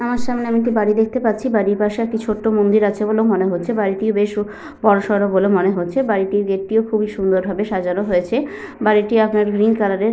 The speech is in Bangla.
আমার সামনে আমি একটি বাড়ি দেখতে পাচ্ছি। বাড়ির পাশে একটি ছোট্ট মন্দির আছে বলেও মনে হচ্ছে। বাড়িটিও বেশ বড়সড় বলে মনে হচ্ছে। বাড়িটির গেট টিও খুবই সুন্দর ভাবে সাজানো হয়েছে। বাড়িটি আপনার গ্রীণ কালার এর।